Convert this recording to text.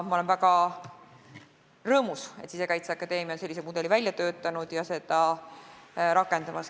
Ma olen väga rõõmus, et Sisekaitseakadeemia on sellise mudeli välja töötanud ja seda rakendamas.